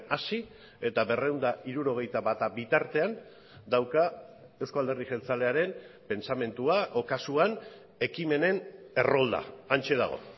hasi eta berrehun eta hirurogeita bata bitartean dauka euzko alderdi jeltzalearen pentsamendua edo kasuan ekimenen errolda hantxe dago